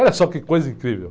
Olha só que coisa incrível.